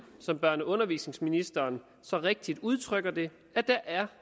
som børne og undervisningsministeren så rigtigt udtrykker det er